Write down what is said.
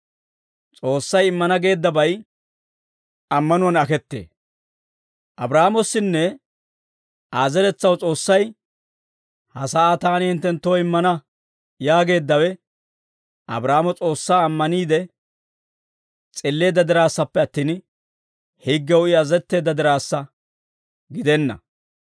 Abraahaamossinne Aa zeretsaw S'oossay, «Ha sa'aa taani hinttenttoo immana» yaageeddawe, Abraahaamo S'oossaa ammaniide s'illeedda diraassappe attin, higgew I azazetteedda diraassa gidenna.